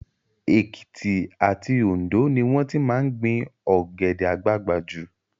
Èkìtì àti Òndó ni wọ́n ti máa ń gbin Ọ̀gẹ̀dẹ̀ àgbagbà jù